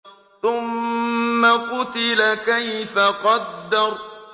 ثُمَّ قُتِلَ كَيْفَ قَدَّرَ